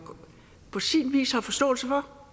på sin vis har forståelse for